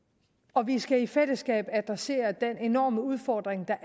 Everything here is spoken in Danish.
og vi skal i fællesskab adressere den enorme udfordring der